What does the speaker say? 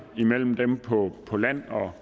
mellem dem på på land og